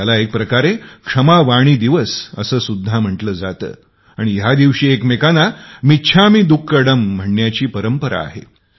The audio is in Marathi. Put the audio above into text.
ह्याला एका प्रकारे क्षमावाणी दिवस सुद्धा म्हंटल जात आणि ह्या दिवशी एकमेकांना मिच्छामी दुक्कडम म्हणण्याची परंपरा आहे